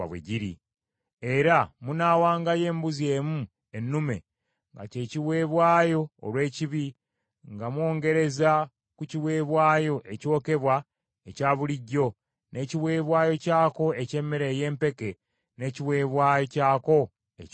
Era munaawangayo embuzi emu ennume nga kye kiweebwayo olw’ekibi nga mwongereza ku kiweebwayo ekyokebwa ekya bulijjo, n’ekiweebwayo kyako eky’emmere ey’empeke n’ekiweebwayo kyako ekyokunywa.